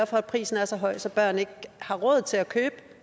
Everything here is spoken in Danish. for at prisen er så høj så børn ikke har råd til at købe